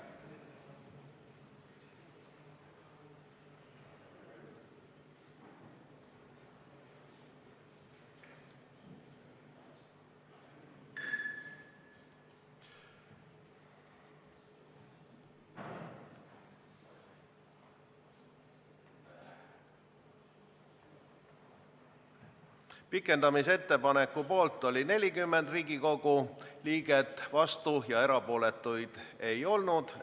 Hääletustulemused Pikendamise ettepaneku poolt oli 40 Riigikogu liiget, vastuolijaid ega erapooletuid ei olnud.